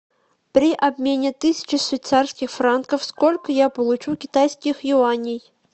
при обмене тысячи швейцарских франков сколько я получу китайских юаней